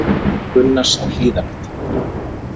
Víg Gunnars á Hlíðarenda